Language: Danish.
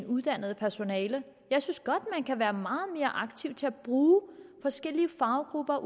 uddannet personale jeg synes godt man kan være meget mere aktiv til at bruge forskellige faggrupper